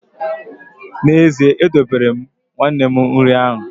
N’ezie, edobere m nwanne m nri ahụ